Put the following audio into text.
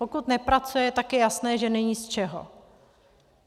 Pokud nepracuje, tak je jasné, že není z čeho.